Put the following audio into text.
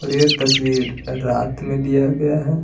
और ये तस्वीर रात में लिया गया है।